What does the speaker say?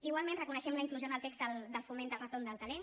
igualment reconeixem la inclusió en el text del foment del retorn del talent